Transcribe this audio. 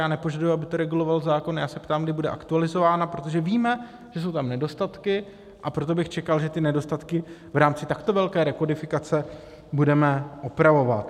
Já nepožaduji, aby to reguloval zákon, já se ptám, kdy bude aktualizována, protože víme, že jsou tam nedostatky, a proto bych čekal, že ty nedostatky v rámci takto velké rekodifikace budeme opravovat.